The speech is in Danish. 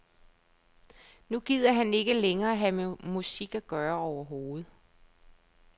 Nu gider han ikke længere have med musik at gøre overhovedet.